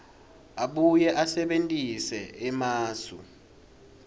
abuye asebentise emasu